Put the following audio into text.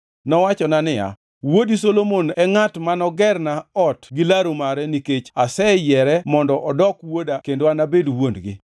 Nowachona niya, Wuodi Solomon e ngʼat manogerna ot gi laru mare nikech aseyiere mondo odok wuoda kendo anabed wuon-gi.